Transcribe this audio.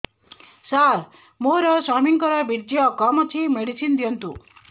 ସାର ମୋର ସ୍ୱାମୀଙ୍କର ବୀର୍ଯ୍ୟ କମ ଅଛି ମେଡିସିନ ଦିଅନ୍ତୁ